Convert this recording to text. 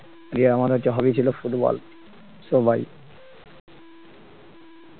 hobby ছিল football so bye